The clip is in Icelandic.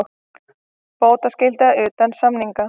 Bótaskylda utan samninga.